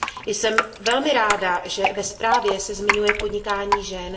Jsem velmi ráda, že ve zprávě se zmiňuje podnikání žen.